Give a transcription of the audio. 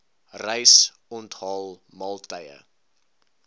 reis onthaal maaltye